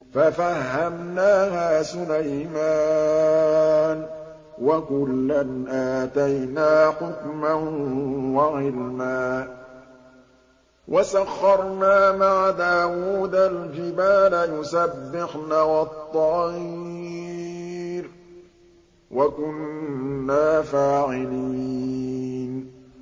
فَفَهَّمْنَاهَا سُلَيْمَانَ ۚ وَكُلًّا آتَيْنَا حُكْمًا وَعِلْمًا ۚ وَسَخَّرْنَا مَعَ دَاوُودَ الْجِبَالَ يُسَبِّحْنَ وَالطَّيْرَ ۚ وَكُنَّا فَاعِلِينَ